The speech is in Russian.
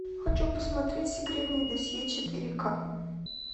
хочу посмотреть секретное досье четыре ка